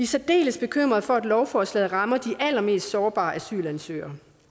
særdeles bekymrede for at lovforslaget rammer de allermest sårbare asylansøgere